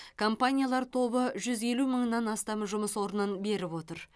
компаниялар тобы жүз елу мыңнан астам жұмыс орнын беріп отыр